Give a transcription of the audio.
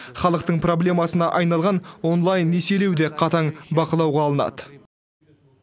халықтың проблемасына айналған онлайн несиелеу де қатаң бақылауға алынады